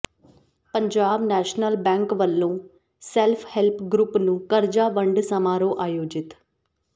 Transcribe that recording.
Punjab national bank ਵਲੋਂ self help group ਨੂੰ ਕਰਜਾ ਵੰਡ ਸਮਾਰੋਹ ਆਯੋਜਿਤ